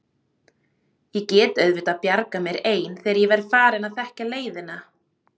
Ég get auðvitað bjargað mér ein þegar ég verð farin að þekkja leiðina.